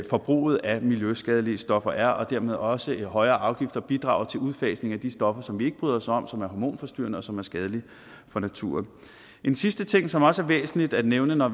forbruget af miljøskadelige stoffer er og dermed også at højere afgifter bidrager til udfasning af de stoffer som vi ikke bryder os om og som er hormonforstyrrende og som er skadelige for naturen en sidste ting som det også er væsentligt at nævne når